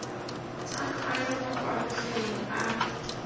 tsa tlwaelo kwa mafelong a